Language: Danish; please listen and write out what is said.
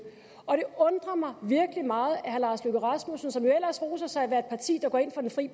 og det undrer mig virkelig meget at herre lars løkke rasmussen som jo ellers roser sig af at af et parti der går ind for den fri